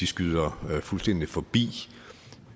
skyder fuldstændig forbi